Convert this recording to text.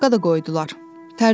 Vizitka da qoydular.